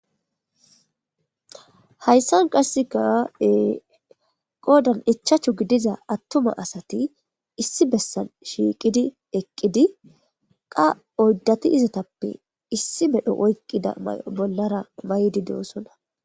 Hayssan qasseka ee qoddan ichchachu gidiza attuma asati issi bessan shiiqidi eqqidi qaa oyddati izatappe issi medhdho oyqqida may'o bollara may'di de'osona